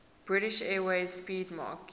british airways 'speedmarque